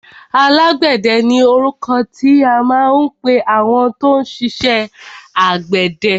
Alágbẹ̀dẹ ni orúkọ tí à ń pẹ àwọn tó ń ṣiṣẹ àgbẹ̀dẹ.